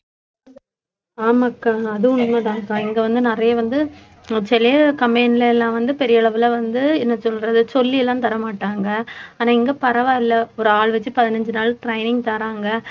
ஆமாக்கா அதுவும் உண்மைதான்அக்கா இங்க வந்து நிறைய வந்து சிலயது company ல எல்லாம் வந்து பெரிய அளவுல வந்து என்ன சொல்றது சொல்லி எல்லாம் தரமாட்டாங்க ஆனா இங்க பரவாயில்லை ஒரு ஆள் வச்சு பதினஞ்சு நாள் training தராங்க